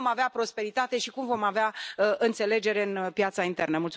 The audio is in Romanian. Cum vom avea prosperitate și cum vom avea înțelegere în piața internă?